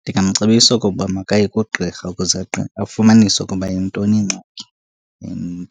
Ndingamcebisa okokuba makaye kugqirha ukuze afumanise ukuba yintoni ingxaki. And